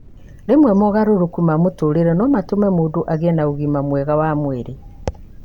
Rĩmwe mogarũrũku ma mũtũũrĩre no matũme mũndũ agĩe na ũgima mwega wa mwĩrĩ.